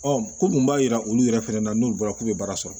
ko mun b'a yira olu yɛrɛ fɛnɛ na n'u bɔra k'u ye baara sɔrɔ